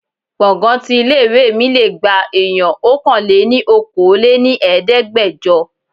Gbọ̀ngán tí ilé ìwé mi lé gba èèyàn Ọkàn-lé-ní-okòó lé ní Ẹ̀ẹ́dẹ́gbẹjọ.